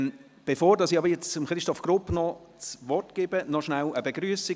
Bevor ich nun Christoph Grupp das Wort erteile, gibt es noch eine Begrüssung: